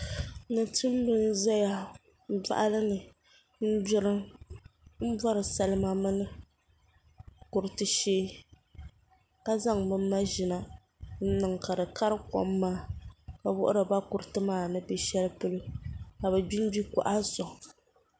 Tumtumdiba n ʒɛya boɣali ni n gbiri n bori salima mini kuriti shee ka zaŋ bi maʒina m niŋ ka di kari kom maa ka wuhiriba kuriti maa ni bɛ shɛli polo ka bi gbingbi boɣa soŋ